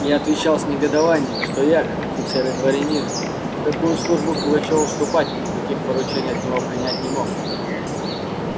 я отвечал с негодованием что я как офицер и дворянин ни в какую службу к пугачёву вступать и никаких поручений от него принять не мог